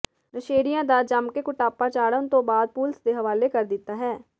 ਨਸ਼ੇੜੀਆਂ ਦਾ ਜੰਮਕੇ ਕੁਟਾਪਾ ਚਾੜਣ ਤੋਂ ਬਾਅਦ ਪੁਲਿਸ ਦੇ ਹਵਾਲੇ ਕਰ ਦਿੱਤਾ ਹੈ